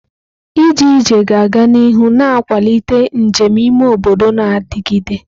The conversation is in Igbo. Ije ije ga-aga n'ihu na-akwalite njem ime obodo na-adigide.